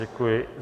Děkuji.